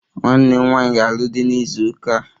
Nwanne m nwanyị ga-alụ di na izu ụka a